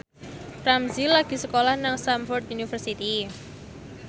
Ramzy lagi sekolah nang Stamford University